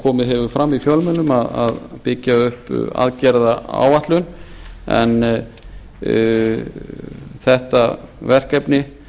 komið hefur fram í fjölmiðlum að byggja upp aðgerðaáætlun en þetta verkefni